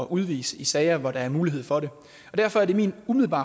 udvise i sager hvor der er mulighed for det og derfor er det min umiddelbare